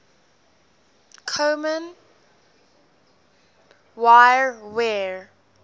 kommen wir wer